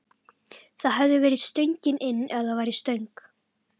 Það hefði verið stöngin inn ef það væri stöng!